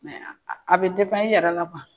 a bɛ i yɛrɛ la